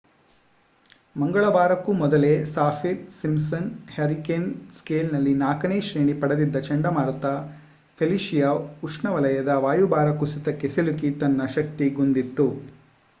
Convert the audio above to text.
ಮಂಗಳವಾರಕ್ಕೂ ಮೊದಲೇ Saffir Simpson hurricane ಸ್ಕೇಲ್‌ನಲ್ಲಿ 4ನೇ ಶ್ರೇಣಿ ಪಡೆದಿದ್ದ ಚಂಡಮಾರುತ ಫೆಲಿಸಿಯಾ ಉಷ್ಣವಲಯದ ವಾಯುಭಾರ ಕುಸಿತಕ್ಕೆ ಸಿಲುಕಿ ತನ್ನ ಶಕ್ತಿಗುಂದಿತ್ತು